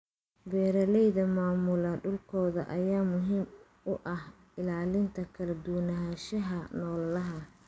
Beeraleyda maamula dhulkooda ayaa muhiim u ah ilaalinta kala duwanaanshaha noolaha.